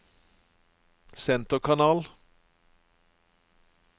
senterkanal